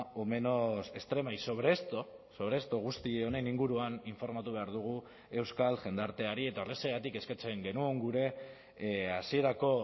o menos extrema y sobre esto sobre esto guzti honen inguruan informatu behar dugu euskal jendarteari eta horrexegatik eskatzen genuen gure hasierako